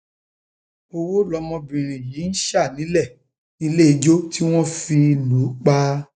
um owó lọmọbìnrin yìí ń yìí ń sá nílé níléijó tí wọn fi um lù ú pa